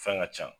Fɛn ka ca